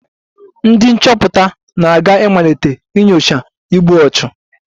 Ndị nchọpụta na-aga ịmalite nyocha igbu ọchụ